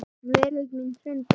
Veröld mín hrundi.